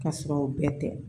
Ka sɔrɔ o bɛɛ tɛ